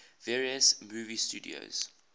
various movie studios